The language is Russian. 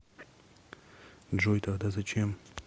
джой тогда зачем